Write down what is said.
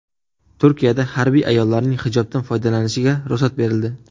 Turkiyada harbiy ayollarning hijobdan foydalanishiga ruxsat berildi.